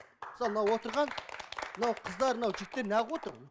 мысалы мынау отырған мынау қыздар мынау жігіттер не қылып отыр